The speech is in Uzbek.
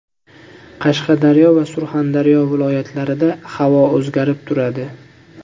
Qashqadaryo va Surxondaryo viloyatlarida havo o‘zgarib turadi.